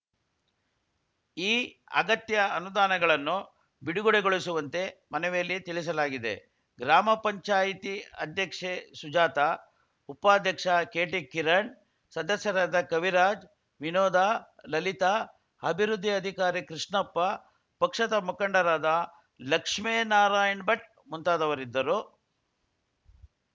ಈ ಅಗತ್ಯ ಅನುದಾನಗಳನ್ನು ಬಿಡುಗಡೆಗೊಳಿಸುವಂತೆ ಮನವಿಯಲ್ಲಿ ತಿಳಿಸಲಾಗಿದೆ ಗ್ರಾಮ ಪಂಚಾಯಿತಿ ಅಧ್ಯಕ್ಷೆ ಸುಜಾತ ಉಪಾಧ್ಯಕ್ಷ ಕೆಟಿ ಕಿರಣ್‌ ಸದಸ್ಯರಾದ ಕವಿರಾಜ್‌ ವಿನೋದ ಲಲಿತಾ ಅಭಿವೃದ್ಧಿ ಅಧಿಕಾರಿ ಕೃಷ್ಣಪ್ಪ ಪಕ್ಷದ ಮುಖಂಡರಾದ ಲಕ್ಷ್ಮೇನಾರಾಯಣ್‌ ಭಟ್‌ ಮುಂತಾದವರಿದ್ದರು